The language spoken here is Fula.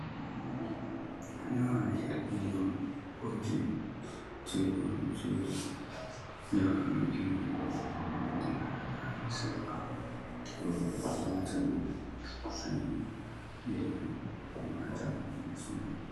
Ndaa yeri ɗiɗi on goldin, junngo on jogi ɗum. Junngo may ɗo mari halagaare silva .Rowɓe ɗo waata ɗum sosay, ɗo waata yeri may.